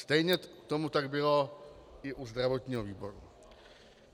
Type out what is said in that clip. Stejně tak tomu bylo i u zdravotního výboru.